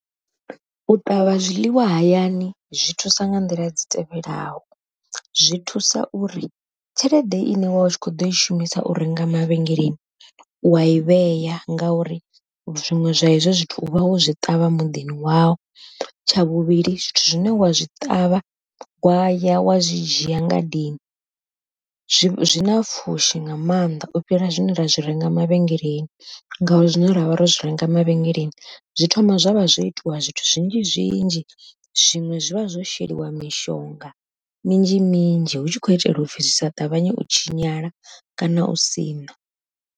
U ṱavha zwiḽiwa hayani zwi thusa nga nḓila dzi tevhelaho, zwi thusa uri tshelede ine wa u tshi kho ḓo i shumisa u renga mavhengeleni, u wai vheya ngauri zwiṅwe zwa izwo zwithu u vha wo zwi ṱavha muḓini wau, tsha vhuvhili zwithu zwine wa zwi ṱavha waya wa zwi dzhia ngadeni zwi zwi na pfhushi nga mannḓa u fhira zwine ra zwi renga mavhengeleni ngauri zwine ra vha ro zwi renga mavhengeleni zwi thoma zwavha zwo itiwa zwithu zwinzhi zwinzhi zwiṅwe zwi vha zwo sheliwa mishonga minzhi minzhi hu tshi khou itela upfhi zwi sa ṱavhanye u tshinyala kana u siṋa.